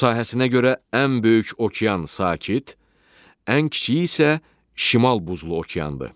Sahəsinə görə ən böyük okean Sakit, ən kiçiyi isə Şimal Buzlu okeandır.